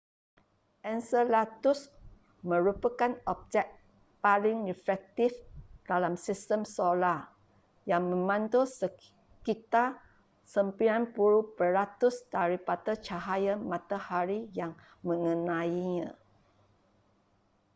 enceladus merupakan objek paling reflektif dalam sistem solar yang memantul sekitar 90 peratus daripada cahaya matahari yang mengenainya